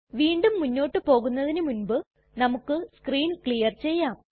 വീണ്ടും മുന്നോട്ട് പോകുന്നതിനു മുൻപ് നമുക്ക് സ്ക്രീൻ ക്ലിയർ ചെയ്യാം